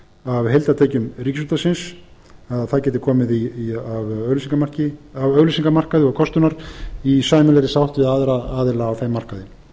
af heildartekjum ríkisútvarpsins að það gæti komið af auglýsingamarkaði og kostunar í sæmilegri sátt við aðra aðila á þeim markaði